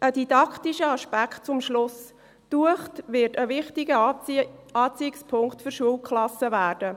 Ein didaktischer Aspekt zum Schluss: Die Uecht wird ein wichtiger Anziehungspunkt für Schulklassen werden.